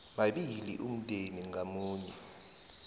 mabili umndeni ngamunye